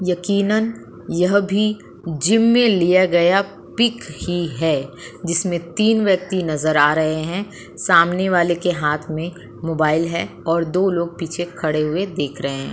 यकिनन यह भी जिम में लिया गया पिक ही है। जिसमे तीन व्यक्ति नजर आ रहे हैं। सामने वाले के हाथ में मोबाइल है और दो लोग पीछे खड़े हुए देख रहे हैं।